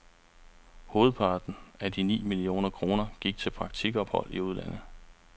Hovedparten af de ni millioner kroner gik til praktikophold i udlandet.